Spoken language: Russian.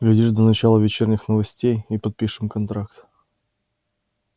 глядишь до начала вечерних новостей и подпишем контракт